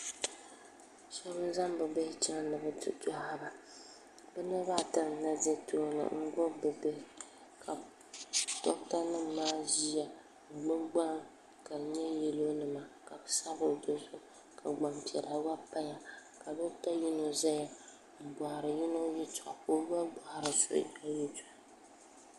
shɛbi n zaŋ be bihi chɛŋ ni bi ti dohiba be niribaata na ʒɛ tuuni n gbabi be bihi ka dogita nim maa ʒɛya m gbabi gban ka di nyɛ yɛlo nima gban sabila bɛ dini ka gbapiɛlla gba bɛ dini ka dogita yino zaya n bohiri yino yɛtoɣ' n bohiri so gba yɛtoɣ'